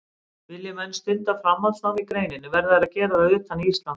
Vilji menn stunda framhaldsnám í greininni verða þeir að gera það utan Íslands.